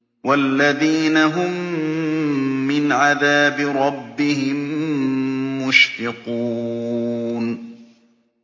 وَالَّذِينَ هُم مِّنْ عَذَابِ رَبِّهِم مُّشْفِقُونَ